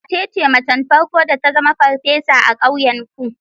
Wace ce macen farko da ta zama farfesa a ƙauyenku?